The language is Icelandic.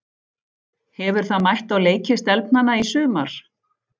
Hefur það mætt á leiki stelpnanna í sumar?